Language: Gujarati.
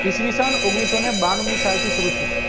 ઈશવિસન ઓગણિસઓને બાણું ની સાલ થી સારું થયો